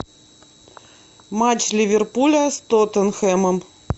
матч ливерпуля с тоттенхэмом